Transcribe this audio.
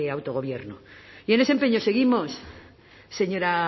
autogobierno y en ese empeño seguimos señora